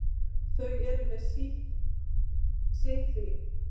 Þau eru með sitt líf.